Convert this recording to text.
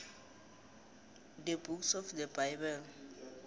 the books of the bible